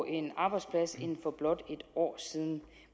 en arbejdsplads end for blot et år siden